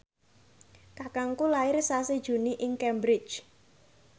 kakangku lair sasi Juni ing Cambridge